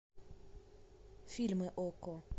фильмы окко